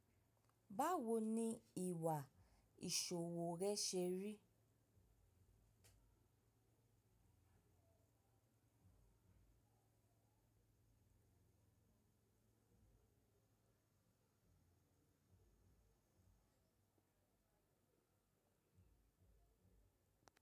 Báwo ni ìwà ìṣòwò rẹ ṣe rí?